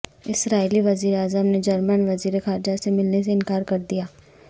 اسرائیلی وزیراعظم نے جرمن وزیر خارجہ سے ملنے سے انکار کر دیا